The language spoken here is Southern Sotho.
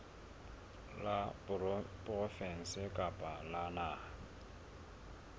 la provinse kapa la naha